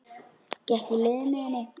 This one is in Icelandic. Gekk í lið með henni.